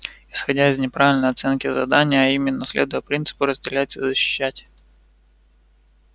исходя из неправильной оценки задания а именно следуя принципу разделять и защищать